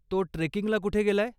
तो ट्रेकिंगला कुठे गेलाय?